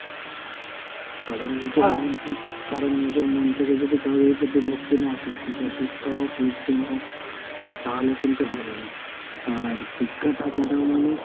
কারণ নিজের মন থে~ কারণ নিজের মন থেকে যদি কাউরির প্রতি ভক্তি না আসে, সেটা শিক্ষা হোক লোকজন হোক। আহ তাহলে কিন্তু হবেনা। আর শিক্ষা থাকাটাও মানে,